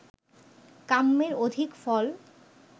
কাম্যের অধিক ফল